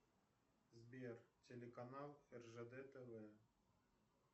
сбер телеканал ржд тв